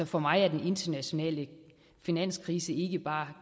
for mig er den internationale finanskrise ikke bare